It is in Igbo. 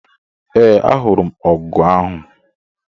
Ee, ahụrụ m ọgụ ahụ